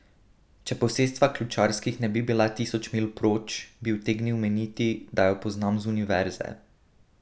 Če posestva Ključarskih ne bi bila tisoč milj proč, bi utegnil meniti, da jo poznam z Univerze.